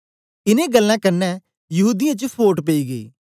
इनें गल्लें कन्ने यहूदीयें च फोट पेई गेई